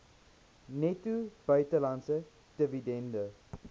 netto buitelandse dividende